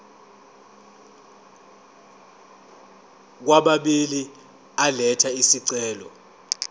kwababili elatha isicelo